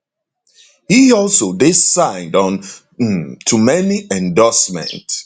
e also dey signed on um to many endorsement